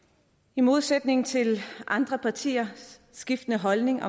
i modsætning til andre partiers skiftende holdning